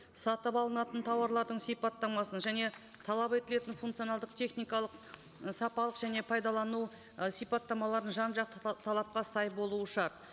сатып алынатын тауарлардың сипаттамасын және талап етілетін функционалдық техникалық і сапалық және пайдалану ы сипаттамаларын жан жақты талапқа сай болуы шарт